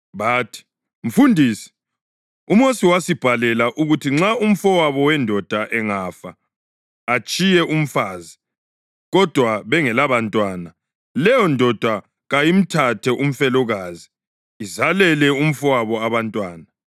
Bathi, “Mfundisi, uMosi wasibhalela ukuthi nxa umfowabo wendoda angafa atshiye umfazi, kodwa bengelabantwana, leyondoda kayimthathe umfelokazi izalele umfowabo abantwana.